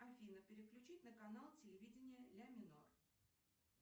афина переключить на канал телевидение ля минор